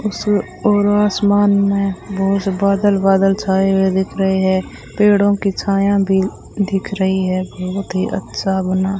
उसमें और आसमान में बहुत बादल बादल छाए हुए दिख रहे हैं पेड़ों की छाया भी दिख रही है बहुत ही अच्छा बना --